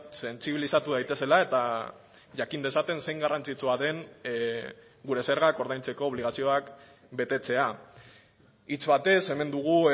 sentsibilizatu daitezela eta jakin dezaten zein garrantzitsua den gure zergak ordaintzeko obligazioak betetzea hitz batez hemen dugu